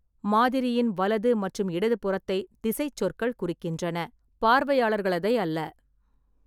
மாதிரியின் வலது மற்றும் இடதுபுறத்தை திசைச் சொற்கள் குறிக்கின்றன, பார்வையாளர்களதை அல்ல.